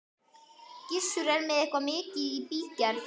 Gissur er með eitthvað mikið í bígerð.